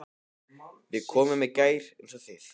Við komum í gær eins og þið.